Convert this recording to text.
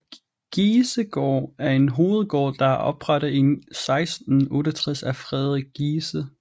Giesegård er en hovedgård der er oprettet i 1668 af Frederik Giese